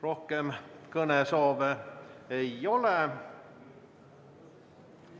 Rohkem kõnesoove ei ole.